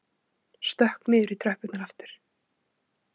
Stökk niður í tröppurnar aftur.